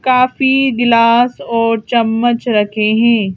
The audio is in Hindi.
काफी गिलास और चम्मच रखे हैं।